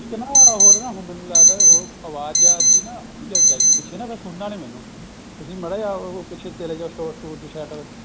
ਇੱਕ ਨਾ ਹੋਰ ਮੈਨੂੰ ਲੱਗਦਾ ਅਵਾਜਾ ਜੀ ਆਉਣਗੀਆ ਪਿਛੇ ਫੇਰ ਕੁੱਛ ਸੁਣਨਾ ਨੀ ਮੈਨੂੰ ਤੁਸੀਂ ਮਾੜਾ ਜਾ ਪਿੱਛੇ ਚਲੇ ਜਾਓ store ਸਟੁਰ ਚ side